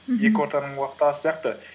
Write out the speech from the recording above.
мхм екі ортаның уақыты аз сияқты